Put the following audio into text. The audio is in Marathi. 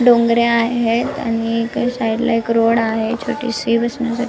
डोंगरे आहेत आणि एका साइडला रोड छोटीशी बसण्यासाठी--